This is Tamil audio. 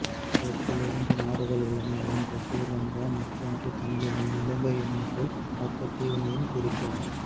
இதற்குள் இரண்டு நாடுகள் உள்ளன ஒன்று சிறிலங்கா மற்றொன்று தமிழீழம் இலங்கை எனும் சொல் மொத்த தீவினையும் குறிக்கும்